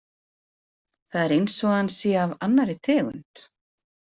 Það er eins og hann sé af annarri tegund.